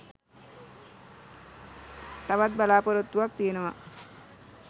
තවත් බලාපොරොත්තුවක් තියෙනවා